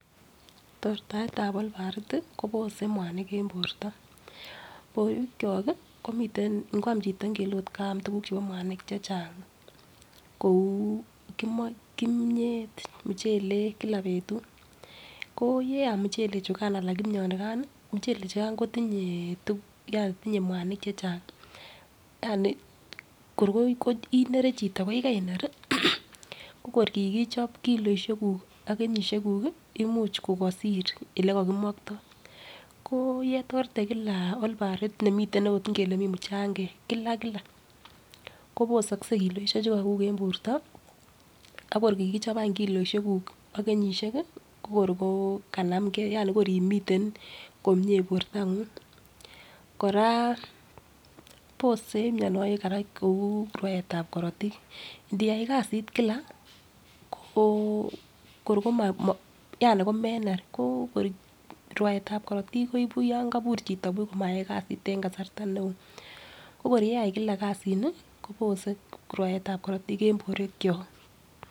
Tortaet ab olbarit ih kobose mwanik en borto, borwek kyok ih komiten ngoam chito ngele ot kaam tuguk chebo mwanik chechang kou kimiet, muchelek kila betut ko yeam muchelek chukan anan kimionikan ih muchelek chukan kotinye tinye mwanik chechang ko kor inere chito ko yekeiner ih ko kor kikichop kiloisiek kuk ak kenyisiek kuk imuch kokosir yekokimoktoo ko yetorte kila olbarit nemiten ot ngele mii muchangek kila kila kobosokse kiloisiek chukokuk en borto ak kor kikichop any kiloisiek kuk ak kenyisiek ih ko kor kokanamgee yani kor imiten komie bortong'ung kora bose kora mionwogik kou rwaetab korotik ndiyai kasit kila ko kor komo yani komener rwaetab korotik koibu yan kobur chito buch komayai kasarta neoo ko kor yeai kila kasit ni kobose rwaetab korotik en borwek kyok